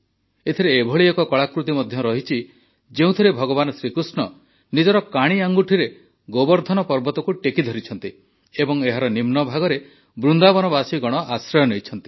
ଏଥିରେ ଏଭଳି ଏକ କଳାକୃତି ମଧ୍ୟ ରହିଛି ଯେଉଁଥିରେ ଭଗବାନ ଶ୍ରୀକୃଷ୍ଣ ନିଜ କାଣି ଆଙ୍ଗୁଠିରେ ଗୋବର୍ଦ୍ଧନ ପର୍ବତକୁ ଟେକି ଧରିଛନ୍ତି ଏବଂ ଏହାର ନିମ୍ନଭାଗରେ ବୃନ୍ଦାବନବାସୀଗଣ ଆଶ୍ରୟ ନେଇଛନ୍ତି